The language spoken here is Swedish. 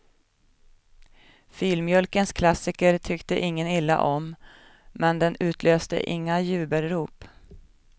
Filmjölkens klassiker tyckte ingen illa om, men den utlöste inga jubelrop.